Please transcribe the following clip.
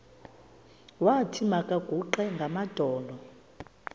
wathi makaguqe ngamadolo